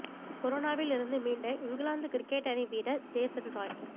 கொரோனாவில் இருந்து மீண்ட இங்கிலாந்து கிரிக்கெட் அணி வீரர் ஜேசன் ராய்